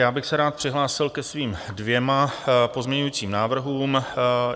Já bych se rád přihlásil ke svým dvěma pozměňovacím návrhům.